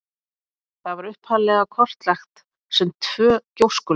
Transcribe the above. Það var upphaflega kortlagt sem tvö gjóskulög.